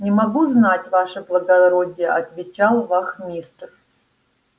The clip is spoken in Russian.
не могу знать ваше благородие отвечал вахмистр